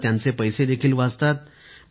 आता त्यांचे पैसे देखील वाचतात